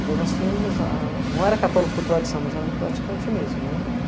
Então, nós tínhamos a... não era católico por tradição, mas éramos praticantes mesmo.